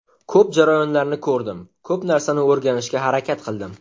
Ko‘p jarayonlarni ko‘rdim, ko‘p narsani o‘rganishga harakat qildim.